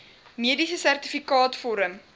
mediese sertifikaat vorm